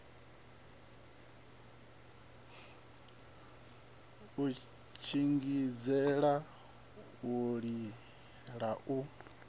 u shingizhela u lila lu